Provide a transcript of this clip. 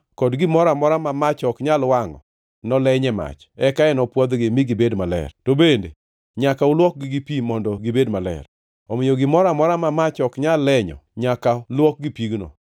kod gimoro amora ma mach ok nyal wangʼo noleny e mach, eka enopwodhgi mi gibed maler. To bende nyaka luokgi gi pi mondo gibed maler. Omiyo gimoro amora ma mach ok nyal lenyo nyaka luok gi pigno.